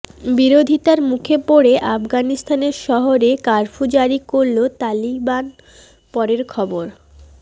বিরোধিতার মুখে পড়ে আফগানিস্তানের শহরে কার্ফু জারি করল তালিবান পরের খবর